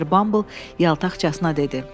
Mister Bumble yaltaqcasına dedi.